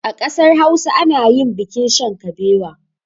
A ƙasar hausa anayin bikin shan kabewa